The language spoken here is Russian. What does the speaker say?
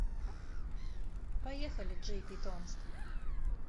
поехали джейпитомск